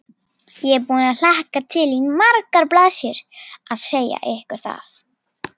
Lestina rækju að sjálfsögðu dagblöðin sem væru algerlega skorðuð við opinber sjónarmið.